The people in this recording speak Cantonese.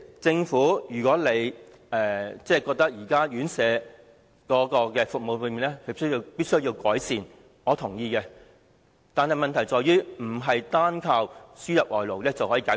政府認為現時院舍服務必需改善，我是認同的，但問題不是單靠輸入外勞便能解決。